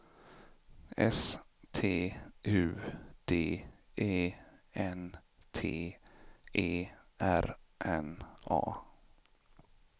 S T U D E N T E R N A